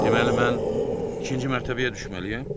Deməli mən ikinci mərtəbəyə düşməliyəm?